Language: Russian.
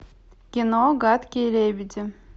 кино гадкие лебеди